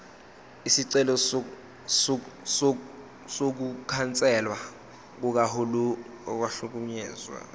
isicelo sokukhanselwa kokuhlakazwa